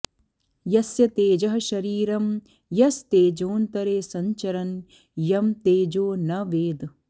यस्य तेजः शरीरं यस्तेजोन्तरे संचरन् यं तेजो न वेद